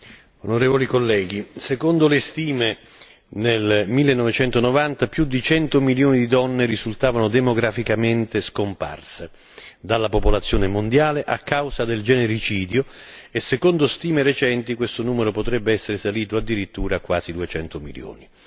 Signor Presidente, onorevoli colleghi, secondo le stime, nel 1990 più di 100 milioni di donne risultavano demograficamente scomparse dalla popolazione mondiale a causa del genericidio e secondo stime recenti questo numero potrebbe essere salito addirittura a quasi 200 milioni.